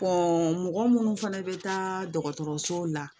mɔgɔ munnu fɛnɛ bɛ taa dɔgɔtɔrɔsow la